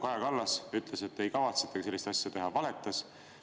Kaja Kallas ütles, et ei kavatsetagi sellist asja teha, aga ta valetas.